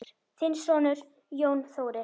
Þinn sonur, Jón Þórir.